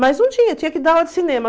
Mas não tinha, tinha que dar aula de cinema.